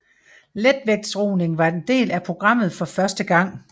Letvægtsroning var en del af programmet for første gang